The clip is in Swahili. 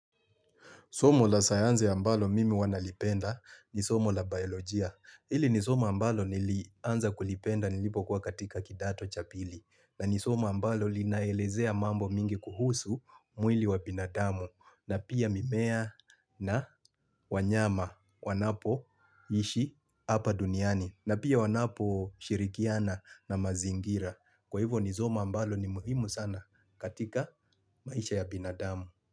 Somo la sayanze ambalo mimi huwa nalipenda ni somo la biolojia. Hili ni somo ambalo nili anza kulipenda nilipo kwa katika kidato cha pili. Na ni somo ambalo linaelezea mambo mingi kuhusu mwili wa binadamu. Na pia mimea na wanyama wanapo ishi hapa duniani. Na pia wanapo shirikiana na mazingira. Kwa hivo ni somo ambalo ni muhimu sana katika maisha ya binadamu.